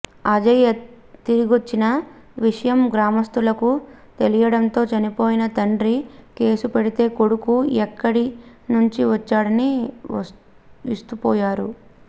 అజయ్ తిరిగొచ్చిన విషయం గ్రామస్తులకు తెలియడంతో చనిపోయాడని తండ్రి కేసు పెడితే కొడుకు ఎక్కడి నుంచి వచ్చాడని విస్తుపోయారు